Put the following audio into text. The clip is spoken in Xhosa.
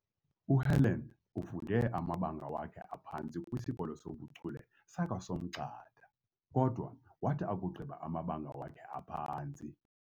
UHelen ufunde amabanga wakhe aphantsi kwisikolo soBuchule sakwaSomgxada kodwa wathi akugqiba amabanga wakhe aphantsi